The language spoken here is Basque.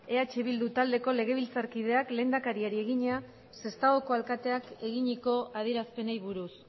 eh bilduko taldeko legebiltzarkideak lehendakariari egina sestaoko alkateak eginiko adierazpenei buruz